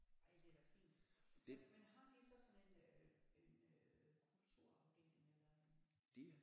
Ej det er da fint men men har de så sådan en øh en øh kulturafdeling eller en